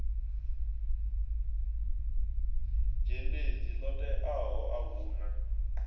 dzhendedzi ḽo teaho a huna